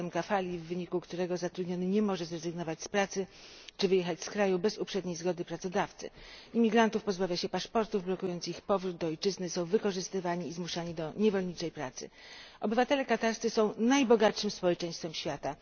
system kafali, w wyniku którego zatrudniony nie może zrezygnować z pracy czy wyjechać z kraju bez uprzedniej zgody pracodawcy. Imigrantów pozbawia się paszportów, blokując ich powrót do ojczyzny, są oni wykorzystywani i zmuszani do niewolniczej pracy. Obywatele katarscy są najbogatszym społeczeństwem świata.